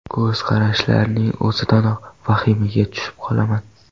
Ko‘z qarashlarining o‘zidanoq vahimaga tushib qolaman.